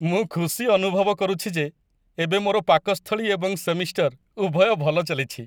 ମୁଁ ଖୁସି ଅନୁଭବ କରୁଛି ଯେ ଏବେ ମୋର ପାକସ୍ଥଳୀ ଏବଂ ସେମିଷ୍ଟର ଉଭୟ ଭଲ ଚାଲିଛି।